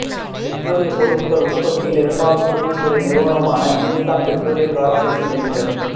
பெட்ரோலிய பொருட்கள் உற்பத்தியில் இரண்டாவது பொதுத்துறை நிறுவனமான ஹிந்துஸ்தான் பெட்ரோலிய கார்ப்பரேஷன் லிமிடெட்